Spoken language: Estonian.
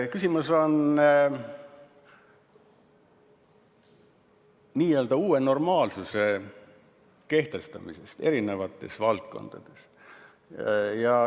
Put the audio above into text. Küsimus on n-ö uue normaalsuse kehtestamises eri valdkondades.